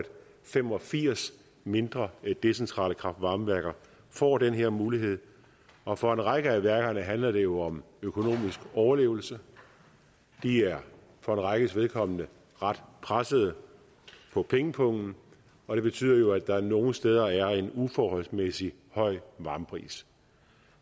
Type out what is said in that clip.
fem og firs mindre decentrale kraft varme værker får den her mulighed og for en række af værkerne handler det jo om økonomisk overlevelse de er for en rækkes vedkommende ret presset på pengepungen og det betyder jo at der nogle steder er en uforholdsmæssigt høj varmepris